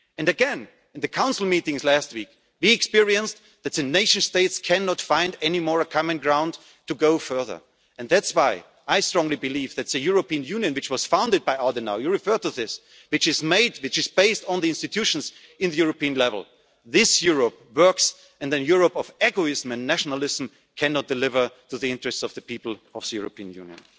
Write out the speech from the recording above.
Union. Again, in the Council meetings last week, we experienced that the nation states can no longer find a common ground to go further. That is why I strongly believe that the European Union, which was founded by Adenauer you referred to this and which is based on the institutions at European level, this Europe works, and the Europe of egoism and nationalism cannot deliver in the interests of the people of the European